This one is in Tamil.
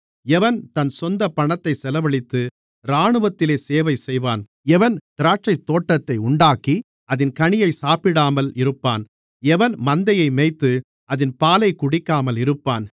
எவன் தன் சொந்தப்பணத்தைச் செலவழித்து இராணுவத்திலே சேவை செய்வான் எவன் திராட்சைத்தோட்டத்தை உண்டாக்கி அதின் கனியை சாப்பிடாமல் இருப்பான் எவன் மந்தையை மேய்த்து அதின் பாலைக் குடிக்காமல் இருப்பான்